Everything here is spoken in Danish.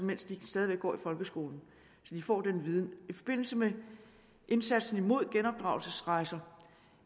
mens de stadig går i folkeskolen så de får den viden i forbindelse med indsatsen mod genopdragelsesrejser